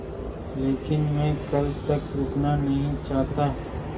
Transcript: लेकिन मैं कल तक रुकना नहीं चाहता